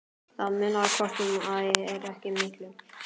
Það munar hvort eð er ekki miklu.